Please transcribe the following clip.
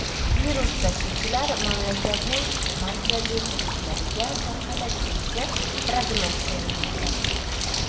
Virus tashuvchilar mamlakatning markaziy hududlariga tarqalib ketishi prognoz qilinmoqda.